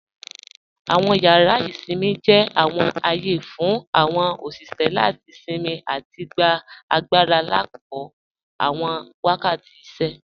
Awọn yàrà isinmí jẹ́ awọn ààyè fún awọn oṣiṣẹ́ láti sinmí àti gbà agbàra lákọ̀ọ̀ awọn wakàtí ìṣẹ́.